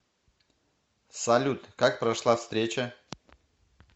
салют как прошла встреча